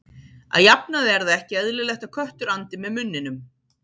Að jafnaði er það ekki eðlilegt að köttur andi með munninum.